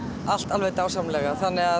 allt alveg dásamlega þannig að